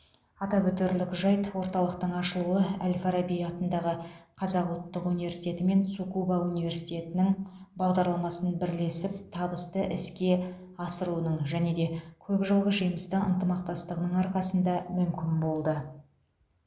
атап өтерлік жайт орталықтың ашылуы әл фараби атындағы қазақ ұлттық университеті мен цукуба университетінің бағдарламасын бірлесіп табысты іске асыруының және де көп жылғы жемісті ынтымақтастығының арқасында мүмкін болды